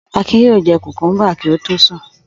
Akin yóò jẹ kòkúḿbà kí ó tó sùn.